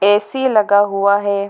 AC. लगा हुआ है।